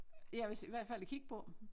Ja hvis i hvert fald at kigge på